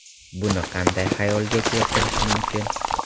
Buni qanday xayolga keltirish mumkin?